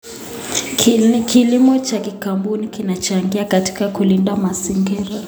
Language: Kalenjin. Kilimo cha kikaboni kinachangia katika kulinda mazingira.